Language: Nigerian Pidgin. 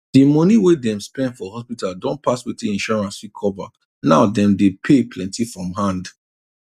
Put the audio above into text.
di money wey dem spend for hospital don pass wetin insurance fit cover now dem dey pay plenty from hand